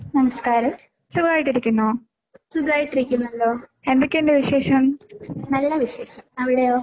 നമസ്കാരം സുഖായിട്ടിരിക്കുന്നല്ലോ. നല്ല വിശേഷം. അവിടെയോ?